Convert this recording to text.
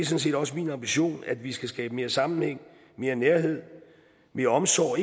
set også min ambition at vi skal skabe mere sammenhæng mere nærhed mere omsorg og